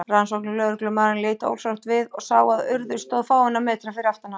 Rannsóknarlögreglumaðurinn leit ósjálfrátt við og sá að Urður stóð fáeina metra fyrir aftan hann.